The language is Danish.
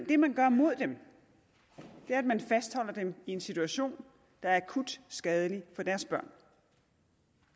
det man gør mod dem er at man fastholder dem i en situation der er akut skadelig for deres børn